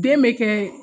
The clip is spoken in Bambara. Den bɛ kɛ